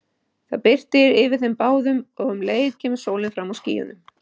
Það birtir yfir þeim báðum og um leið kemur sólin fram úr skýjunum.